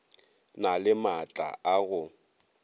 na le maatla a go